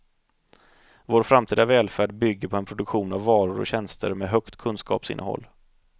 Vår framtida välfärd bygger på en produktion av varor och tjänster med högt kunskapsinnehåll.